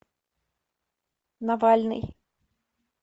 навальный